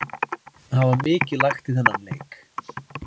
Það var mikið lagt í þennan leik.